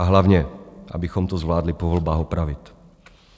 A hlavně abychom to zvládli po volbách opravit.